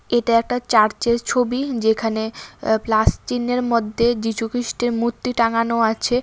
এটা একটা চার্চের ছবি যেখানে আঃ প্লাস চিহ্নের মধ্যে যিশুখ্রিস্টের মুর্তি টাঙানো আছে ।